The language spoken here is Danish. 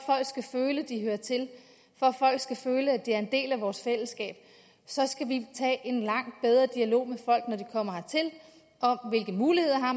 skal føle at de hører til for at folk skal føle at de er en del af vores fællesskab skal vi tage en langt bedre dialog med folk når de kommer hertil om hvilke muligheder